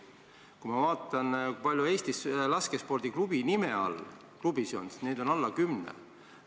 Kui ma vaatan, kui palju on Eestis laskespordiklubi nime kandvaid klubisid, siis näen, et neid on alla kümne.